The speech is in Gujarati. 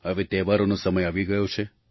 હવે તહેવારોનો સમય આવી ગયો છે